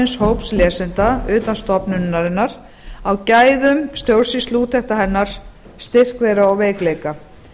valins hóps lesenda utan stofnunarinnar á gæðum stjórnsýsluúttekta hennar styrk þeirra og veikleika